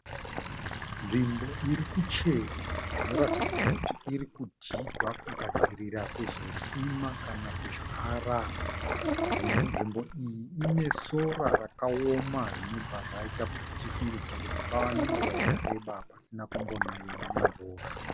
Nzvimbo iri kucherwa zvinoratidza kuti iri kudhigwa kugadzirira kuzosima kana kudyara. Nzvimbo iyi ine sora rakaoma zvinobva zvaita kuti tifungidzire kuti pava nenguva yakareba kusina kumbonaiwa nemvura.